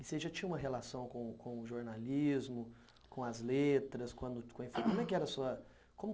E você já tinha uma relação com com o jornalismo, com as letras? Como que era a sua